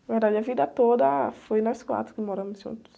Na verdade, a vida toda foi nós quatro que moramos juntos.